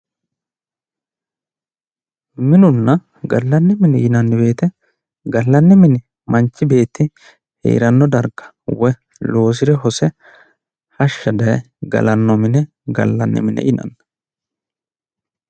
Minunna gallanni mine yinanni woyite gallanni mine manchi beetti heeranno darga woyi loosire hose woyi hashsha daye galanno mine gallanni mine yinanni.